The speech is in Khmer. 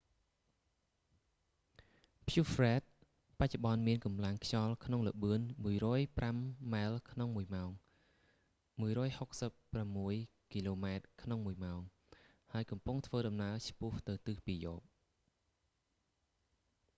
ព្យុះហ្វ្រ៊ែដ fred បច្ចុប្បន្នមានកម្លាំងខ្យល់ក្នុងល្បឿន 105 ម៉ែលក្នុងមួយម៉ោង 165 គីឡូម៉ែត្រក្នុងមួយម៉ោង ហើយកំពុងធ្វើដំណើរឆ្ពោះទៅទិសពាយព្យ